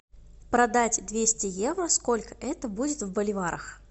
продать двести евро сколько это будет в боливарах